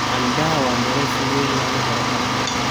Canbaha waa miro si weyn looga helo dalka.